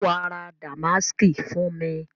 Ṣe wàá ra Damásìkì fún mi?